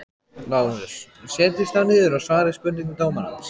LÁRUS: Setjist þá niður og svarið spurningum dómarans.